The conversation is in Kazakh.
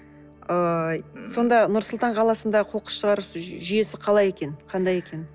ыыы сонда нұр сұлтан қаласында қоқыс шығару жүйесі қалай екен қандай екен